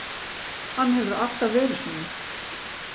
Hann hefur alltaf verið svona.